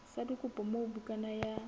sa dikopo moo bukana ya